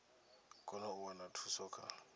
kone u wana thuso kha